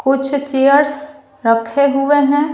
कुछ चेयर्स रखे हुए हैं।